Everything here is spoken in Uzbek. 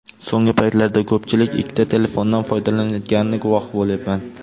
So‘nggi paytlarda ko‘pchilik ikkita telefondan foydalanayotganini guvohi bo‘lyapman.